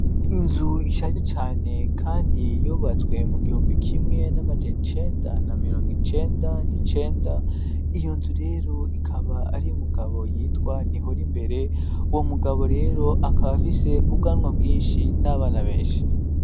Inzu ishaje cyane kandi yubatswe mu gihumbi kimwe n'amajana icenda na mirongo icenda n'icenda. Iyo nzu rero ikaba ari umugabo yitwa nihoro imbere uwo mugabo rero akaba afise ubwanwa bwinshi n'abana benshi.